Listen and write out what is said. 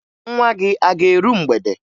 Nwa gị a ga-eru mgbede?